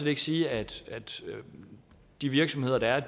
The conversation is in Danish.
ikke sige at de virksomheder der er